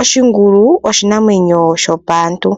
Oshingulu oshinamwenyo shopaantu,